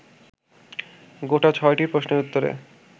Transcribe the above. গোটা ছয়টি প্রশ্নের উত্তরে